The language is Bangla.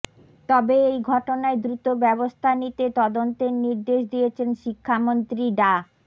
তবে এই ঘটনায় দ্রুত ব্যবস্থা নিতে তদন্তের নির্দেশ দিয়েছেন শিক্ষামন্ত্রী ডা